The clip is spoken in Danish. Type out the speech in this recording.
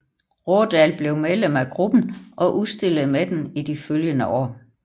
Raadal blev medlem af gruppen og udstillede med den i de følgende år